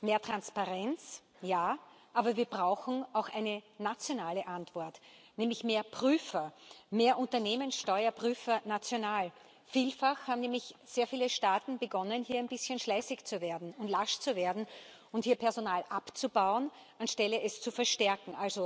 Mehr Transparenz, ja, aber wir brauchen auch eine nationale Antwort, nämlich mehr Prüfer, mehr Unternehmenssteuerprüfer national. Vielfach haben nämlich sehr viele Staaten begonnen, hier ein bisschen schleißig zu werden und lasch zu werden und hier Personal abzubauen, statt es zu verstärken.